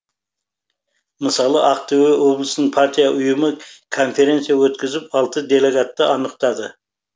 мысалы ақтөбе облысының партия ұйымы конференция өткізіп алты делегатты анықтады